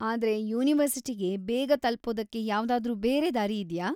ಆದ್ರೆ ಯೂನಿವರ್ಸಿಟಿಗೆ ಬೇಗ ತಲ್ಪೋದಕ್ಕೆ ಯಾವ್ದಾದ್ರೂ ಬೇರೆ ದಾರಿ ಇದ್ಯಾ?